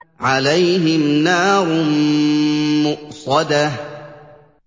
عَلَيْهِمْ نَارٌ مُّؤْصَدَةٌ